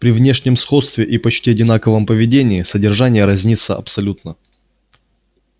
при внешнем сходстве и почти одинаковом поведении содержание разнится абсолютно